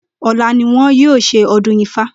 Ò̩la ni wo̩n yóò s̩e o̩dún Ifá